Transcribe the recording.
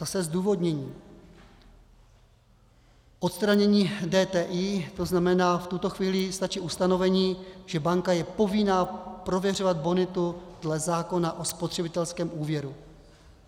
Zase zdůvodnění: Odstranění DTI, to znamená, v tuto chvíli stačí ustanovení, že banka je povinna prověřovat bonitu dle zákona o spotřebitelském úvěru.